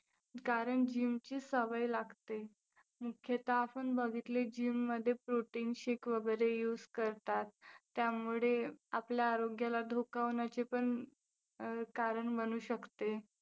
कारण gym ची सवय लागते. मुख्यतः आपण बघितले gym मध्ये protein shake वगैरे use करतात. त्यामुळे आपल्या आरोग्याला धोका होण्याची पण अं कारण बनू शकते.